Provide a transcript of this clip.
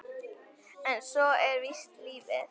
En svona er víst lífið.